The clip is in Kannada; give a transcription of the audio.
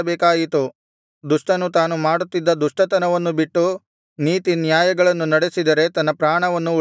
ದುಷ್ಟನು ತಾನು ಮಾಡುತ್ತಿದ್ದ ದುಷ್ಟತನವನ್ನು ಬಿಟ್ಟು ನೀತಿನ್ಯಾಯಗಳನ್ನು ನಡೆಸಿದರೆ ತನ್ನ ಪ್ರಾಣವನ್ನು ಉಳಿಸಿಕೊಳ್ಳುವನು